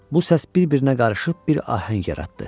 Bu səs bir-birinə qarışıb bir ahəng yaratdı.